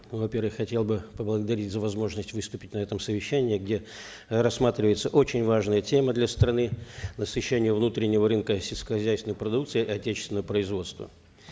ну во первых хотел бы поблагодарить за возможность выступить на этом совещании где э рассматриваются очень важные темы для страны насыщение внутреннего рынка сельскохозяйственной продукцией отечественного производства